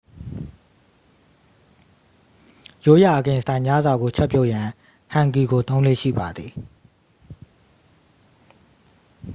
ရိုးရာ အကင်စတိုင်ညစာကိုချက်ပြုတ်ရန် ဟန်ဂီကိုသုံးလေ့ရှိပါသည်